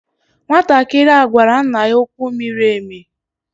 Nwantakịrị a gwara nna ya okwu miri emi.